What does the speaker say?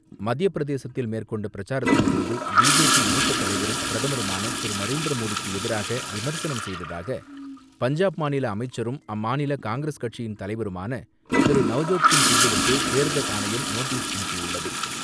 மத்தியப் பிரதேசத்தில் மேற்கொண்ட பிரச்சாரத்தின் போது பிஜேபி மூத்த தலைவரும், பிரதமருமான திரு நரேந்திர மோடிக்கு எதிராக விமர்சனம் செய்ததாக பஞ்சாப் மாநில அமைச்சரும், அம்மாநில காங்கிரஸ் கட்சியின் தலைவருமான திரு நவ்ஜோத்சிங் சித்துவுக்கு தேர்தல் ஆணையம் நோட்டீஸ் அனுப்பியுள்ளது.